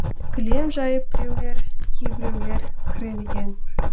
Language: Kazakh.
кілем жайып біреулер кейбіреулер кір ілген